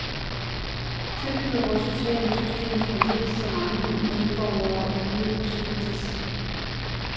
Tilbyder vort sociale system for lidt, så mange medborgere i nød svigtes?